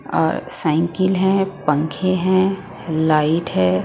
और साइकिल है पंखे हैं लाइट है.